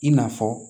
I n'a fɔ